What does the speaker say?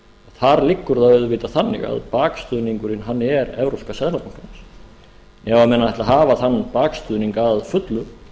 þar liggur það auðvitað þannig að bakstuðningurinn hann er evrópska seðlabankans ef menn ætla að hafa þann bakstuðning að fullu